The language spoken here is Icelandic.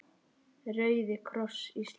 Rauði kross Íslands